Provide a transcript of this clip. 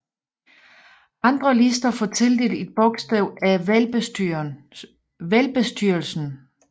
Andre lister får tildelt et bogstav af valgbestyrelsen